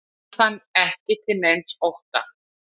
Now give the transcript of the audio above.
Hann fann ekki til neins ótta.